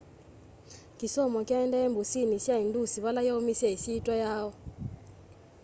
kĩsomo kyaendeeie mbũsĩnĩ sya ĩndũs vala yaũmĩsye ĩsyĩtwa yayo